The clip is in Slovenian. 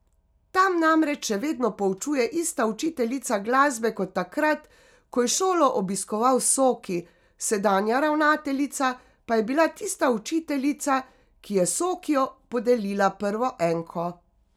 Tam namreč še vedno poučuje ista učiteljica glasbe kot takrat, ko je šolo obiskoval Soki, sedanja ravnateljica pa je bila tista učiteljica, ki je Sokiju podelila prvo enko.